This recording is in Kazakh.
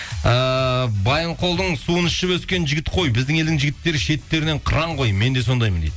ыыы байынқолдың суын ішіп өскен жігіт қой біздің елдің жігіттері шеттерінен қыран ғой мен де сондаймын дейді